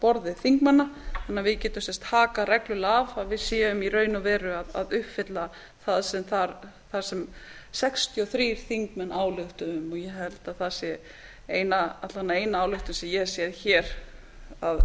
borði þingmanna þannig að við getum sem sagt hakað reglulega af að við séum í raun og veru að uppfylla það sem sextíu og þrír þingmenn ályktuðu um ég held að það sé alla vega eina ályktunin sem ég hef séð hér